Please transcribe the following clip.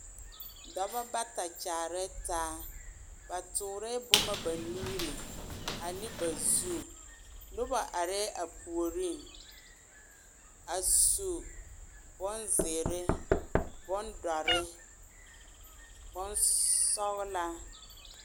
Dɔba bata kyaare taa ba tɔɔre boma ba nuuri ane ba zu Noba aree a puoriŋ a su bonzeɛre, bondoɔre, bonsɔglaa.